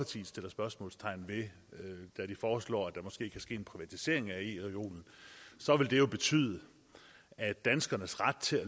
spørgsmålstegn ved da de foreslår at der måske kan ske en privatisering af ereolen det vil betyde at danskernes ret til